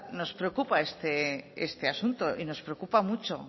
nos preocupa este asunto y nos preocupa mucho